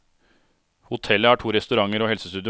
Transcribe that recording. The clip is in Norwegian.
Hotellet har to restauranter og helsestudio.